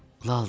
Laldır.